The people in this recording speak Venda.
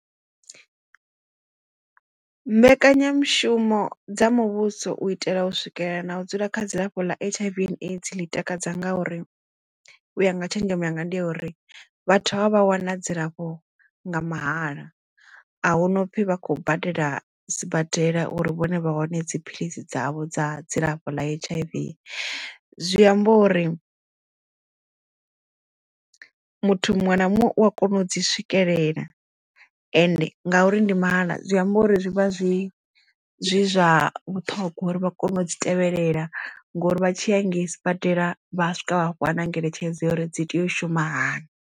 Mbekanyamushumo dza muvhuso u itela u swikelela na u dzula kha dzilafho ḽa H_I_V and AIDS ḽi takadza nga uri u ya nga tshenzhemo yanga ndi ya uri vhathu havha vh wana dzilafho nga mahala a hu no pfi vha khou badela sibadela uri vhone vha hone dziphilisi dzavho dza dzilafho ḽa H_I_V zwi amba uri muthu muṅwe na muṅwe u a kona u dzi swikelela ende ngauri ndi mahala zwi amba uri zwi vha zwi zwi zwa vhuṱhongwa uri vha kone u dzi tevhelela ngori vha tshiya hangei sibadela vha swika vha fhiwa nangeletshedzo ya uri dzi tea u shuma hani.